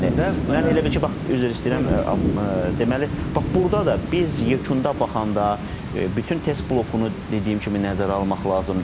Siz bir ballardan danışırsınız Mən elə bil ki, bax üzr istəyirəm deməli bax burda da biz yekunda baxanda bütün test blokunu dediyim kimi nəzərə almaq lazımdır.